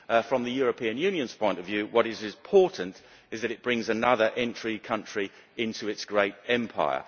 From the European Union's point of view, what is important is that it brings another entry country into its great empire.